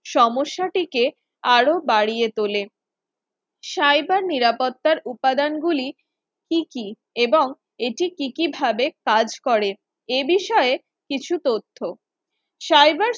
সমস্যাটিকে আরও বাড়িয়ে তোলে, cyber নিরাপত্তার উপাদানগুলি কি কি এবং এটি কি কিভাবে কাজ করে এ বিষয়ে কিছু তথ্য cyber